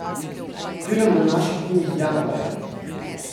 Film bo v naših kinih januarja.